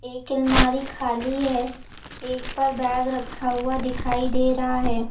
एक अलमारी खाली है एक पर बैग रखा हुआ दिखाई दे रहा है।